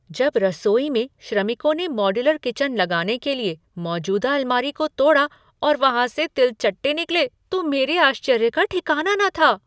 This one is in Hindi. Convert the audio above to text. जब रसोई में श्रमिकों ने मॉड्यूलर किचन लगाने के लिए मौजूदा अलमारी को तोड़ा और वहाँ से तिलचट्टे निकले तो मेरे आश्चर्य का ठिकना न था।